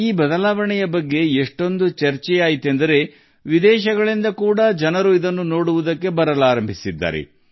ಈ ಬದಲಾವಣೆಯ ಪರಿವರ್ತನೆಯ ಬಗ್ಗೆ ತುಂಬಾ ಚರ್ಚೆಯಾಗುತ್ತಿದೆ ಇದನ್ನು ನೋಡಲು ವಿದೇಶದಿಂದ ಸಾಕಷ್ಟು ಜನರು ಬರಲು ಪ್ರಾರಂಭಿಸಿದ್ದಾರೆ